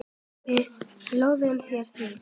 Við lofum þér því.